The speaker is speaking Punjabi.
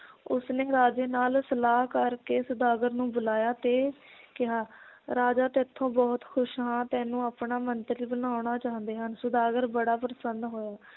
ਉਸਨੇ ਰਾਜੇ ਨਾਲ ਸਲਾਹ ਕਰਕੇ ਸੌਦਾਗਰ ਨੂੰ ਬੁਲਾਇਆ ਤੇ ਕਿਹਾ ਰਾਜਾ ਤੈਥੋਂ ਬਹੁਤ ਖੁਸ਼ ਹਾਂ ਤੈਨੂੰ ਆਪਣਾ ਮੰਤਰੀ ਬਣਾਉਣਾ ਚਾਹੁੰਦੇ ਹਨ ਸੌਦਾਗਰ ਬੜਾ ਪ੍ਰਸੰਨ ਹੋਇਆ